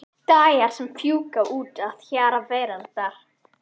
Dagar sem fjúka út að hjara veraldar.